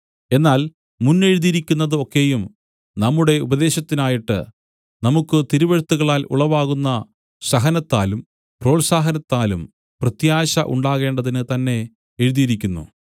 എന്നാൽ മുന്നെഴുതിയിരിക്കുന്നതു ഒക്കെയും നമ്മുടെ ഉപദേശത്തിനായിട്ട് നമുക്കു തിരുവെഴുത്തുകളാൽ ഉളവാകുന്ന സഹനത്താലും പ്രോത്സാഹനത്താലും പ്രത്യാശ ഉണ്ടാകേണ്ടതിന് തന്നേ എഴുതിയിരിക്കുന്നു